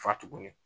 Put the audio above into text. Fa tuguni